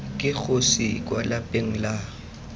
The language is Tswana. ke kgosi kwa lapeng la